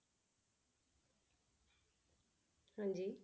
ਹਾਂਜੀ।